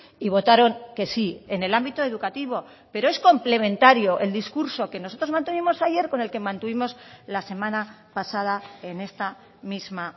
y votaron que sí en el ámbito educativo pero es complementario el discurso que nosotros mantuvimos ayer con el que mantuvimos la semana pasada en esta misma